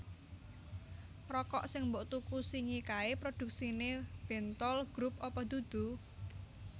Rokok sing mbok tuku singi kae produksine Bentoel Group apa dudu?